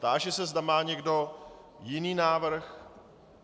Táži se, zda má někdo jiný návrh.